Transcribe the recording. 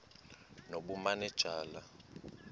nobumanejala